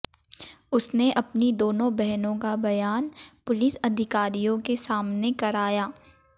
उसने अपनी दोनों बहनों का बयान पुलिस अधिकारियों के सामने कराया